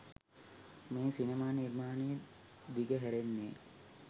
මේ සිනමා නිර්මාණය දිගහැරෙන්නේ